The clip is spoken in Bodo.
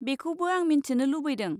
बेखौबो आं मिन्थिनो लुबैदों।